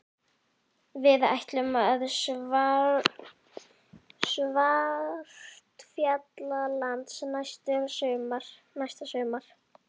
Við ætlum til Svartfjallalands næsta sumar.